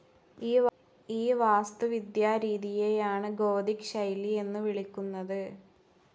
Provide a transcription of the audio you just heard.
ഈ വാസ്തുവിദ്യാരീതിയെയാണ് ഗോഥിക് ശൈലി എന്ന് വിളിക്കുന്നത്.